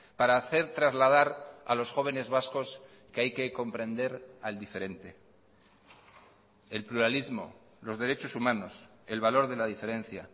para hacer trasladar a los jóvenes vascos que hay que comprender al diferente el pluralismo los derechos humanos el valor de la diferencia